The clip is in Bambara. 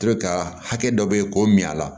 To ka hakɛ dɔ beyi k'o min a la